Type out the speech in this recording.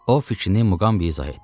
O fikrini Muqambiyə izah etdi.